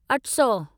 अठसौ